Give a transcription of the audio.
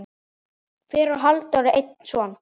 Fyrir á Halldór einn son.